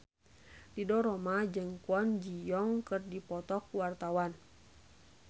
Ridho Roma jeung Kwon Ji Yong keur dipoto ku wartawan